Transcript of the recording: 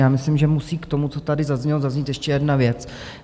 Já myslím, že musí k tomu, co tady zaznělo, zaznít ještě jedna věc.